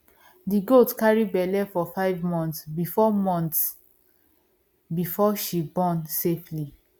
the goat carry belle for five months before months before she born safely